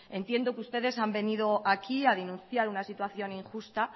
entiendo que ustedes han venido aquí a denunciar una situación injusta